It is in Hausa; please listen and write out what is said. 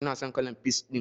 Ina son kalan peas ɗin.